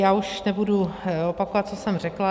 Já už nebudu opakovat, co jsem řekla.